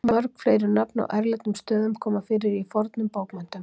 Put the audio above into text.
Mörg fleiri nöfn á erlendum stöðum koma fyrir í fornum bókmenntum.